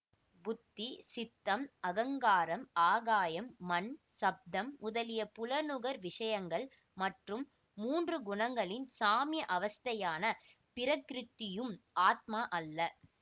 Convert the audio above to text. புத்தி சித்தம் அகங்காரம் ஆகாயம் மண் சப்தம் முதலிய புலனுகர் விஷயங்கள் மற்றும் மூன்று குணங்களின் சாம்ய அவஸ்தையான பிரகிருதியும் ஆத்மா அல்ல